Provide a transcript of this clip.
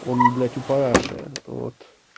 он блять у параши вот